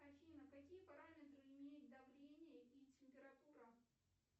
афина какие параметры имеют давление и температура